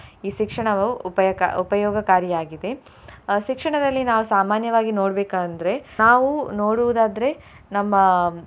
ಈ ಶಿಕ್ಷಣವು ಉಪಾಯಕ~ ಉಪಯೋಗಕಾರಿಯಾಗಿದೆ. ಅಹ್ ಶಿಕ್ಷಣದಲ್ಲಿ ನಾವು ಸಾಮಾನ್ಯವಾಗಿ ನೋಡ್ಬೇಕಂದ್ರೆ ನಾವು ನೋಡುವುದಾದ್ರೆ ನಮ್ಮ.